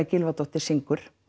Gylfadóttir syngur